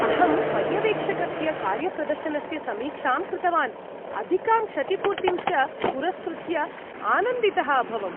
अहं पर्यवेक्षकस्य कार्यप्रदर्शनस्य समीक्षां कृतवान्, अधिकां क्षतिपूर्तिं च पुरस्कृत्य आनन्दितः अभवम्।